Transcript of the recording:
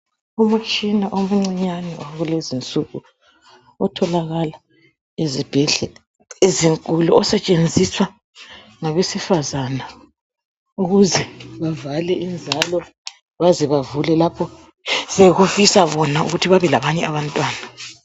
Umtshina omncinyane wakulezinsuku otholakala ezibhedlela ezinkulu osetshenziswa ngabesifazana ukuze bavale inzalo baze bavule lapho sokufisa bona ukuthi babelabanye abantwana.